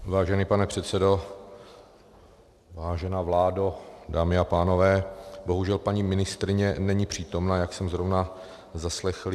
Vážený pane předsedo, vážená vládo, dámy a pánové, bohužel paní ministryně není přítomna, jak jsem zrovna zaslechl.